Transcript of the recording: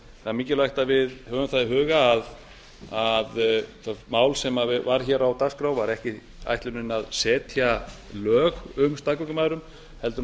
það er mikilvægt að við höfum það í huga að það mál sem var á dagskrá var ekki ætlunin að setja lög um staðgöngumæðrun heldur að